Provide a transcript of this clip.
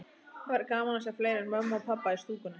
Það væri gaman að sjá fleiri en mömmu og pabba í stúkunni.